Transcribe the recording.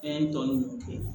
dɔɔnin ninnu kɛ